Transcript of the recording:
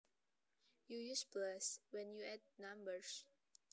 You use plus when you add numbers